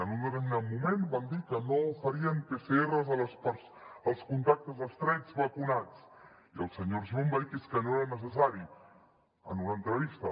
en un determinat moment van dir que no farien pcrs als contactes estrets vacunats i el senyor argimon va dir que és que no era necessari en una entrevista